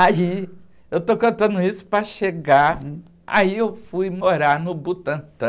Aí, eu estou contando isso para chegar, aí eu fui morar no Butantã,